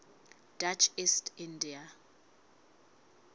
dutch east india